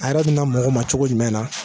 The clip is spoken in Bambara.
A yɛrɛ bina mɔgɔ ma cogo jumɛn na ?